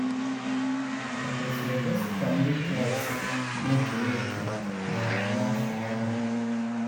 Ò Kwesịrị Ekwesị Ka Ndị Kraịst Na - ekere Òkè n’Ememe Afọ Ọhụrụ?